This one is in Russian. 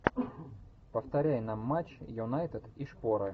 повторяй нам матч юнайтед и шпоры